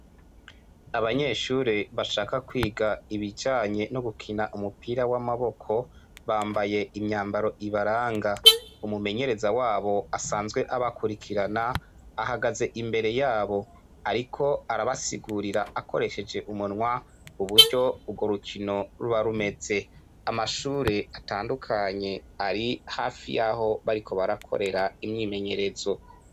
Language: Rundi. Abanyeshure bashaka kwiga ibijanye numupira wamaboko bambaye imyambaro ibaranga umumenyereza wabo asanzwe abakwirikirana ahagaze imbere yabo ariko arabasigurira akoresheje umunwa uburyo ugo rukino ruba rumeze amashure atandukanye ari hafi yaho bariko barakorera imyimenyerezo